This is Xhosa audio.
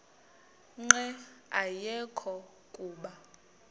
nqe ayekho kuba